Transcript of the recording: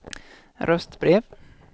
röstbrev